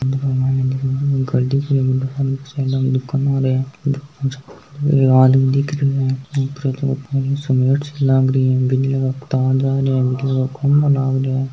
इक माइन गाड़ी साइड मे दुकान एक आदमी दिखे है ऊपर सिमट सी लगरी है तार जरा है खंभा लग रा है।